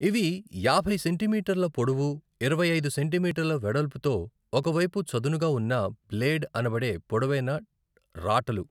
ఇవి యాభై సెంటీమీటర్ల పొడవు, ఇరవై ఐదు సెంటీమీటర్ల వెడల్పుతో ఒక వైపు చదునుగా ఉన్న బ్లేడ్ అనబడే పొడవైన రాటలు .